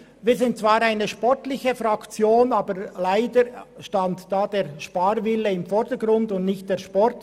Wir sind zwar eine sportliche Fraktion, aber leider stand da der Sparwille im Vordergrund und nicht der Sport.